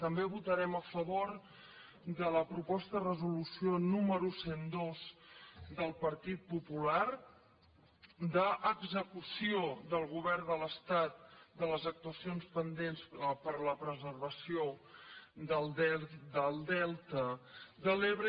també votarem a favor de la proposta de resolució número cent i dos del partit popular d’execució del govern de l’estat de les actuacions pendents per a la preservació del delta de l’ebre